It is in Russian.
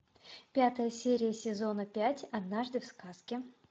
пятая серия сезона пять однажды в сказке